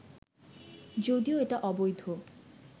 যদিও এটা অবৈধ